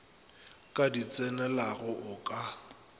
ka di tsenelago o ka